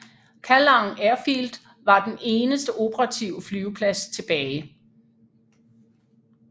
Kallang Airfield var den eneste operative flyveplads tilbage